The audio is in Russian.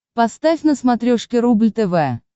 поставь на смотрешке рубль тв